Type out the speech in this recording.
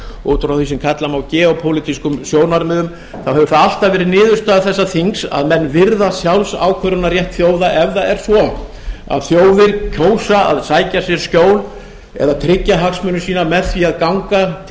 frá því sem kalla má geopólitískum sjónarmiðum þá hefur það alltaf verið niðurstaða þessa þings að menn virða sjálfsákvörðunarrétt þjóða ef það er svo að þjóðir kjósa að sækja sér skjól eða tryggja hagsmuni sína með því að ganga til